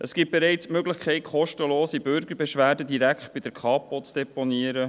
Es gibt bereits die Möglichkeit, kostenlose Bürgerbeschwerden direkt bei der Kapo zu deponieren.